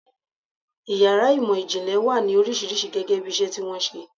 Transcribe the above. Ìyàrá ìmò-ìjìnlẹ̀ wà ní oríṣiríṣi gẹ́gẹ́bí iṣẹ́ tí wọ́n ń ṣe.